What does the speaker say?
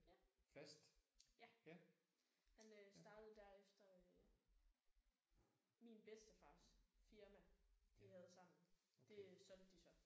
Ja. Ja. Han øh startede der efter min bedstefars firma de havde sammen det øh solgte de så